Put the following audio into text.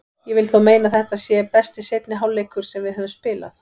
Ég vil þó meina að þetta sé besti seinni hálfleikur sem við höfum spilað.